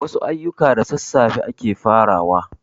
Wasu ayuka da sassafe ake farawa